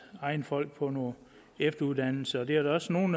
egne folk på noget efteruddannelse og det er der også nogle